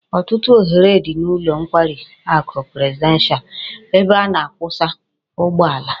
Otutu ohere di n'ulo nkwari aku presidential ebe a na-akwusa ugbo ala